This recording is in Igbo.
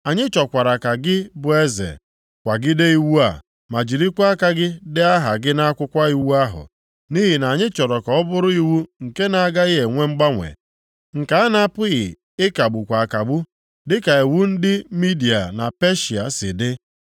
Anyị chọkwara ka gị bụ eze kwagide iwu a ma jirikwa aka gị dee aha gị nʼakwụkwọ iwu ahụ. Nʼihi na anyị chọrọ ka ọ bụrụ iwu nke na-agaghị enwe mgbanwe, nke a na-apụghị ịkagbukwa akagbu, dịka iwu ndị Midia na Peshịa si dị.”